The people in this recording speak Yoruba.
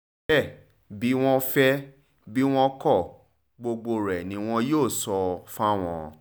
bẹ́ẹ̀ bí wọ́n fẹ́ bí wọn kò gbógo rẹ̀ ni wọn yóò sọ fáwọn